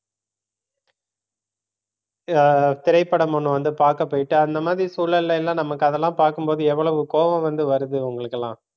அஹ் திரைப்படம் ஒண்ணு வந்து பார்க்க போயிட்டு அந்த மாதிரி சூழல்ல எல்லாம் நமக்கு அதெல்லாம் பார்க்கும் போது எவ்வளவு கோபம் வந்து வருது உங்களுக்கு எல்லாம்